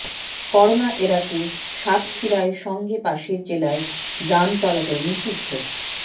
corona এড়াতে সাতক্ষীরায় সঙ্গে পাশের জেলার যান চলাচল নিষিদ্ধ